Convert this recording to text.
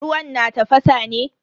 Ruwan na tafasa ne?